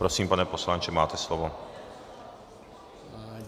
Prosím, pane poslanče, máte slovo.